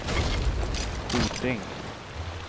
Hoting